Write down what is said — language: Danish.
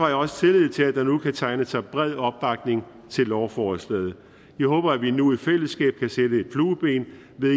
jeg også tillid til at der nu kan tegne sig en bred opbakning til lovforslaget jeg håber at vi nu i fællesskab kan sætte et flueben ved